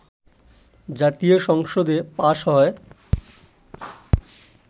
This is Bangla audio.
জাতীয় সংসদে পাস হয়